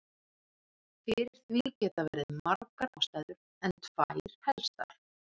Fyrir því geta verið margar ástæður en tvær helstar.